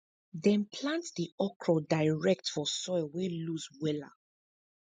dem plant di okro direct for soil wey loose wella